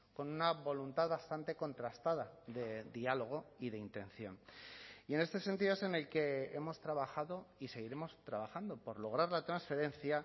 con una voluntad bastante contrastada de diálogo y de intención y en este sentido es en el que hemos trabajado y seguiremos trabajando por lograr la transferencia